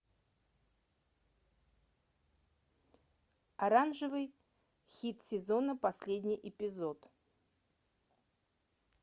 оранжевый хит сезона последний эпизод